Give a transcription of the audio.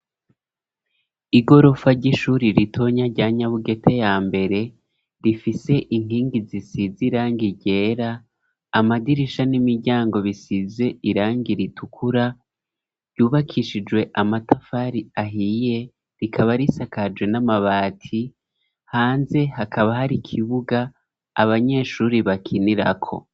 Igorofa ry'ishuri ritonya rya Nyabugete yambere rifise inkingi zisize iranga ryera, amadirisha n'imiryango bisize irangi ritukura yubakishijwe amatafari ahiye rikaba risakaje n'amabati, hanze hakaba hari kibuga abanyeshuri bakinirako.